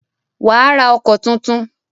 Wà á ra ọkọ̀ tuntun.